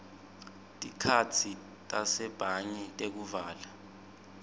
tikhatsi tasebhange tekuvala